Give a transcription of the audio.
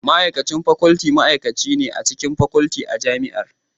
Ma'aikacin Faculty ma'aikaci ne a cikin Faculty a Jami'ar.